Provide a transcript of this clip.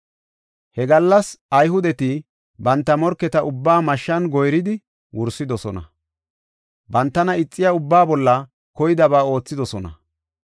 He gallas Ayhudeti banta morketa ubbaa mashshan goyridi wursidosona; bantana ixiya ubbaa bolla koydaba oothidosona.